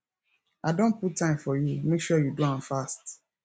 i don put time for you make sure you do am fast